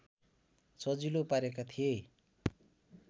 सजिलो पारेका थिए